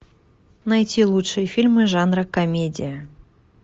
найти лучшие фильмы жанра комедия